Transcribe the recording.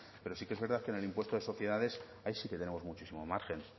pero sí que es verdad en el impuesto de sociedades ahí sí que tenemos muchísimo margen